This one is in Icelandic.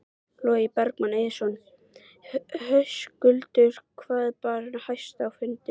Logi Bergmann Eiðsson: Höskuldur hvað bar hæst á fundinum?